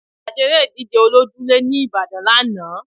A ṣe eré ìdíje olójúlé ní Ibadan lánàá